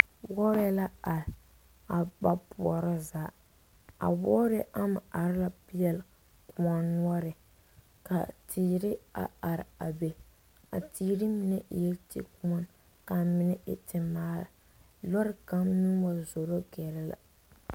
Wɔɔre la are a ba poorɔ a wɔɔre ama are peɛle kõɔ noɔre ka teere are are a be a teere mine e la tekoɔne ka a mine temaara loori kaŋa meŋ wa zoro gara la.